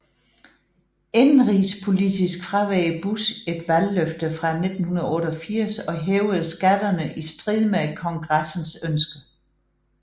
Indenrigspolitisk fraveg Bush et valgløfte fra 1988 og hævede skatterne i strid med Kongressens ønske